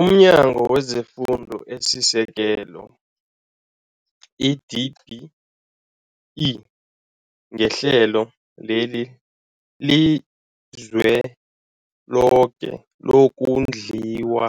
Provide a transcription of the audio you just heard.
UmNyango wezeFundo esiSekelo, i-DBE, ngeHlelo leliZweloke lokoNdliwa